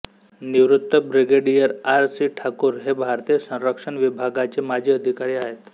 निवृत्त brigadier R C Thakur हे भारतीय संरक्षण विभागाचे माजी अधिकारी आहेत